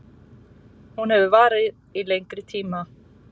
Hún hefur varað í lengri tíma